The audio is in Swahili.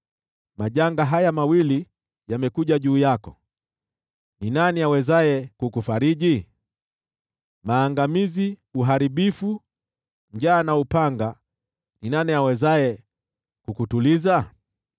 Majanga haya mawili yamekuja juu yako: ni nani awezaye kukufariji? Maangamizi, uharibifu, njaa na upanga: ni nani awezaye kukutuliza?